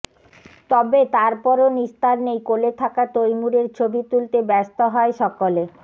তবে তারপরও নিস্তার নেই কোলে থাকা তৈমুরের ছবি তুলতে ব্যস্ত হয় সকলে